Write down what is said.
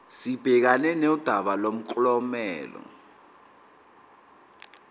sibhekane nodaba lomklomelo